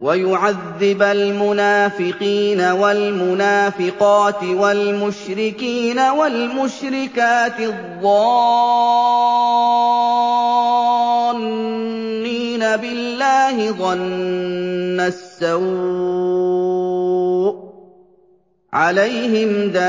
وَيُعَذِّبَ الْمُنَافِقِينَ وَالْمُنَافِقَاتِ وَالْمُشْرِكِينَ وَالْمُشْرِكَاتِ الظَّانِّينَ بِاللَّهِ ظَنَّ السَّوْءِ ۚ عَلَيْهِمْ دَائِرَةُ